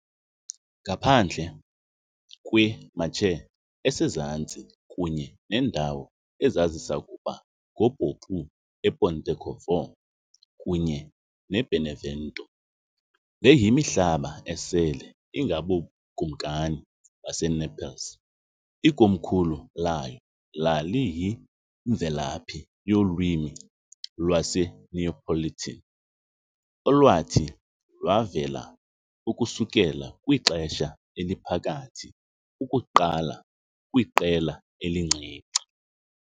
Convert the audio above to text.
Ngaphandle kwe-Marche esezantsi kunye neendawo ezazisakuba ngupopu ePontecorvo kunye neBenevento, le yimihlaba esele ingaboBukumkani baseNaples, ikomkhulu layo laliyimvelaphi yolwimi lwaseNeapolitan, olwathi lwavela ukusukela kwiXesha Eliphakathi ukuqala kwiqela elincinci.